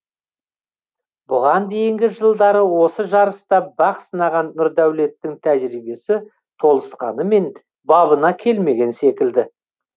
бұған дейінгі жылдары осы жарыста бақ сынаған нұрдәулеттің тәжірибесі толысқанымен бабына келмеген секілді